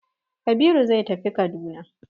Kabiru zai tafi Kaduna.